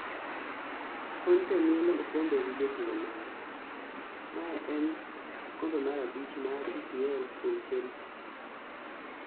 Conte mielo okombe gi jotugo mare . Mae en okombe mar abich mar EPL Kwuom Chelsea